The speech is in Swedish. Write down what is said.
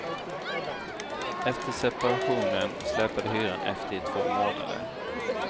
Efter separationen släpade hyran efter i två månader.